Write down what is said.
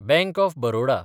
bank of Baroda